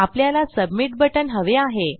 आपल्याला submit button हवे आहे